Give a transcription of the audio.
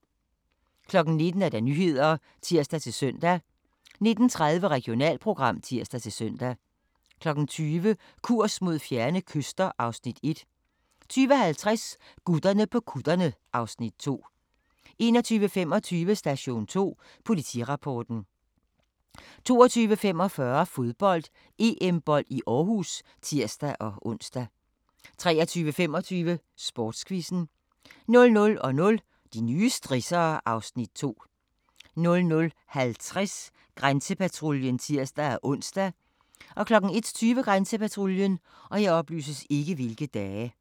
19:00: Nyhederne (tir-søn) 19:30: Regionalprogram (tir-søn) 20:00: Kurs mod fjerne kyster (Afs. 1) 20:50: Gutterne på kutterne (Afs. 2) 21:25: Station 2 Politirapporten 22:45: Fodbold: EM-bold i Aarhus (tir-ons) 23:25: Sportsquizzen 00:00: De nye strissere (Afs. 2) 00:50: Grænsepatruljen (tir-ons) 01:20: Grænsepatruljen